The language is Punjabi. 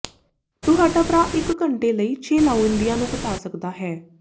ਤੁਹਾਡਾ ਭਰਾ ਇਕ ਘੰਟੇ ਲਈ ਛੇ ਲਾਉਂਦਿਆਂ ਨੂੰ ਘਟਾ ਸਕਦਾ ਹੈ